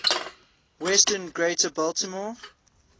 western greater baltimore